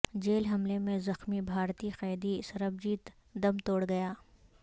jail حملے میں زخمی بھارتی قیدی سربجیت دم توڑ گیا